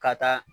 Ka taa